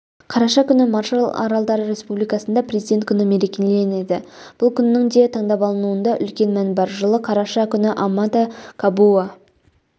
қараша күні маршалл аралдары республикасында президент күні мерекеленеді бұл күннің де таңдап алынуында үлкен мән бар жылы қараша күні амата кабуа